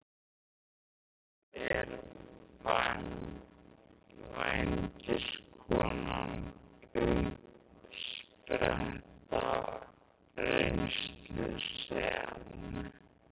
Hins vegar er vændiskonan uppspretta reynslu sem